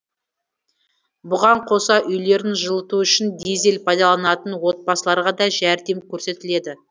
бұған қоса үйлерін жылыту үшін дизель пайдаланатын отбасыларға да жәрдем көрсетіледі